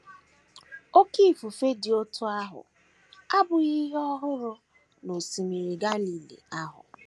Oké ifufe dị otú ahụ abụghị ihe ọhụrụ n’Osimiri Galili ahụ.